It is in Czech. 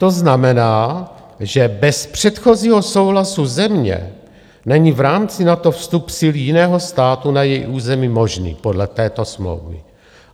To znamená, že bez předchozího souhlasu země není v rámci NATO vstup sil jiného státu na její území možný podle této smlouvy.